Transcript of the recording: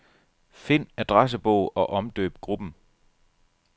Find adressebog og omdøb gruppen.